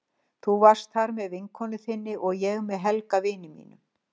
Þú varst þar með vinkonu þinni og ég með Helga, vini mínum.